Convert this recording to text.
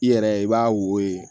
I yɛrɛ i b'a wo